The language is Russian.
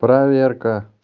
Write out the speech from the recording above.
проверка